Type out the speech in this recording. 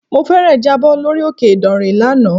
Mo fẹ́ẹ̀rẹ̀ jábọ̀ lórí òkè ìdànrè lánàá.